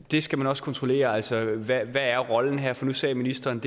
det skal man også kontrollere altså hvad er rollen her for nu sagde ministeren